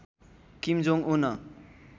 किम Jong उन